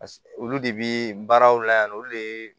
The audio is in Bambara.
olu de bi baaraw la yan nɔ olu de ye